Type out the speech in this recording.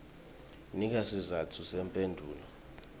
nika sizatfu semphendvulo